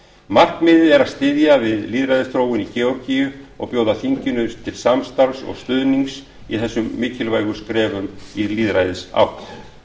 markmiðið er að styðja við lýðræðisþróunina í georgíu og bjóða þinginu til samstarfs og stuðnings í þessum mikilvægu skrefum í lýðræðisátt